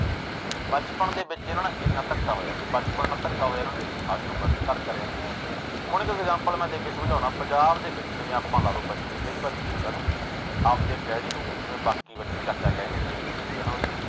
ਬਚਪਨ ਦੇ ਵਿੱਚ ਇਹਨਾਂ ਨਾਲ ਇੰਨਾ ਧੱਕ ਹੋਇਆ ਤੇ ਬਚਪਨ ਧੱਕਾ ਹੋਇਆ ਇਹਨਾਂ ਤੇ ਸਾਰੀ ਉਮਰ ਤੇ ਘਰ ਕਰਿਆ ਹੁਣ ਇੱਕ example ਮੈਂ ਦੇ ਕੇ ਸਮਝਾਉਨਾ ਪੰਜਾਬ ਦੇ ਵਿੱਚ ਜਿਵੇਂ ਆਪਾਂ ਲਾ ਲਓ ਬੱਚੇ, ਕਈ ਵਾਰੀ ਕੀ ਹੁੰਦਾ ਨਾ ਆਪਦੇ daddy ਨੂੰ ਜਿਵੇਂ ਬਾਕੀ ਬੱਚੇ ਚਾਚਾ ਕਹਿ ਦਿੰਦੇ ਨੇ ਜਿਵੇਂ ਭਤੀਜੇ ਹਨਾ ਉਹਦੇ